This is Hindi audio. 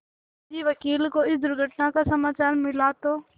सेठ जी वकील को इस दुर्घटना का समाचार मिला तो